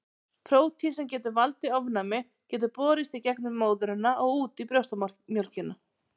Prótín sem getur valdið ofnæmi getur borist í gegnum móðurina og út í brjóstamjólkina.